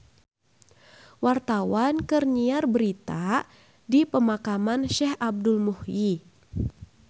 Wartawan keur nyiar berita di Pemakaman Syekh Abdul Muhyi